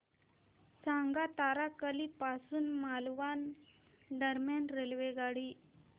सांगा तारकर्ली पासून मालवण दरम्यान रेल्वेगाडी